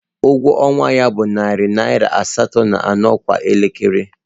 Ụgwọ ọnwa ya bụ narị naira asatọ na anọ kwa elekere